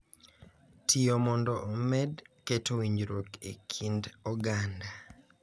Tiyo mondo omed keto winjruok e kind oganda